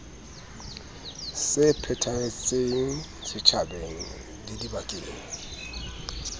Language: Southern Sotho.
se phethahetseng setjhabeng le dibakeng